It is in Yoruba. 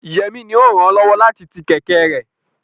Yemi ni ó ràn án lọ́wọ́ láti ti kẹ̀kẹ́ rẹ̀.